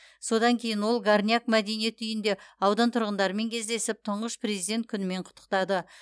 содан кейін ол горняк мәдениет үйінде аудан тұрғындарымен кездесіп тұңғыш президент күнімен құттықтады